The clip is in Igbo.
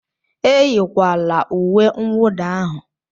Eyikwala uwe nwụda ahụ!